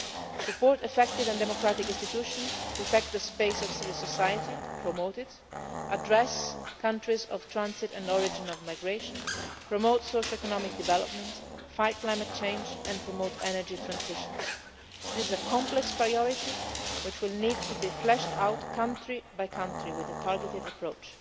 south. We need to support effective and democratic institutions, protect the space of civil society and promote it, address countries of transit and origin of migration, promote socio economic development, fight climate change and promote energy transitions. This is a complex priority which will need to be fleshed out, country by country, with a targeted approach.